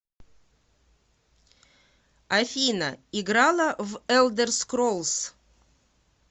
афина играла в элдер скроллс